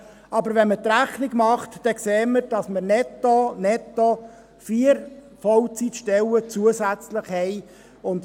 Wenn man aber die Rechnung macht, sieht man, dass wir netto zusätzlich 4 Vollzeitstellen haben.